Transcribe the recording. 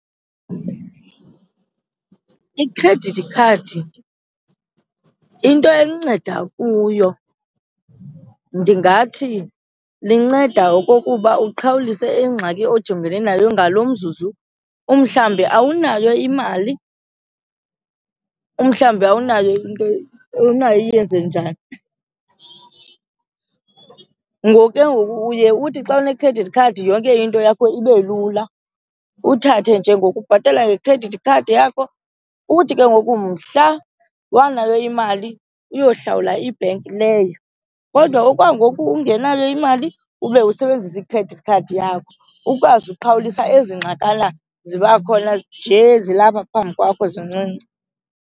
Ikhredithi khadi into elinceda kuyo ndingathi linceda okokuba uqhawulise ingxaki ojongene nayo ngaloo mzuzu, umhlawumbi awunayo imali, umhlawumbi awunayo into, awunayo iyenze njani. Ngoku ke ngoku uye uthi xa une-credit card yonke into yakho ibe lula uthathe nje ngokubhatala ngekhredithi khadi yakho. Uthi ke ngoku mhla wanayo imali uyohlawula ibhenki leyo kodwa okwangoku ungenayo imali ube usebenzise i-credit card yakho, ukwazi uqhawulisa ezi ngxakana ziba khona nje zilapha phambi kwakho zincinci.